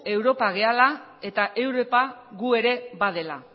europa garela eta europa gu ere badela